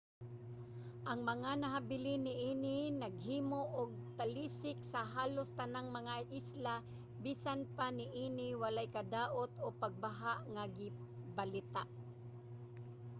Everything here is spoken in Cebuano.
ang mga nahibilin niini naghimo og talisik sa halos tanang mga isla. bisan pa niini walay kadaot o pagbaha nga gibalita